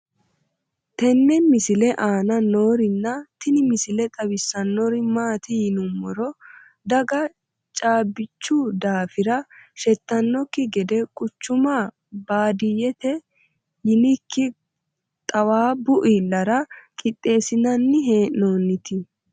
tenne misile aana noorina tini misile xawissannori maati yinummoro daga caabbichu daaffira shettannokki gede quchchumma baadiyeette yinnikki xaawabbu iillarra qixeesinnanni hee'noonniti